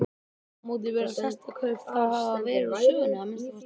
Aftur á móti virðast hestakaup þá hafa verið úr sögunni, að minnsta kosti í bili.